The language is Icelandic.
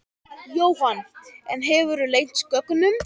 Jóhann: En hefurðu leynt gögnum?